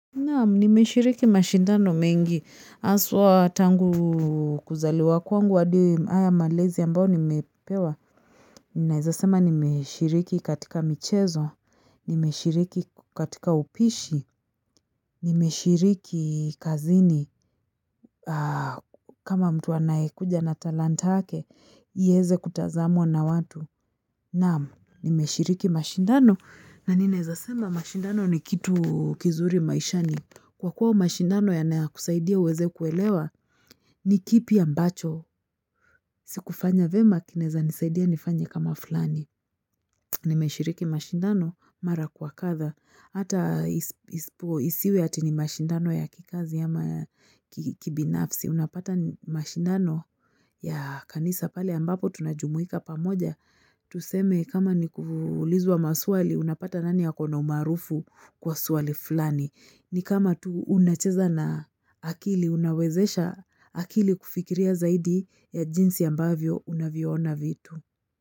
Naam, nimeshiriki mashindano mengi. Haswa tangu kuzaliwa kwangu hadi haya malezi ambayo nimepewa. Ninaeza sema nimeshiriki katika michezo, nimeshiriki katika upishi, nimeshiriki kazini. Kama mtu anayekuja na talanta yake, ieze kutazamwa na watu. Naam, nimeshiriki mashindano na ninaeza sema mashindano ni kitu kizuri maishani. Kwa kuwa mashindano yanakusaidia uweze kuelewa, ni kipi ambacho. Sikufanya vyema, kinaeza nisaidia nifanye kama fulani. Nimeshiriki mashindano, mara kwa kadha. Hata isiwe ati ni mashindano ya kikazi ama ya kibinafsi. Unapata ni mashindano ya kanisa pale ambapo tunajumuika pamoja. Tuseme kama ni kuulizwa maswali unapata nani ako na umaarufu kwa swali fulani. Ni kama tu unacheza na akili, unawezesha akili kufikiria zaidi ya jinsi ambavyo unavyoona vitu.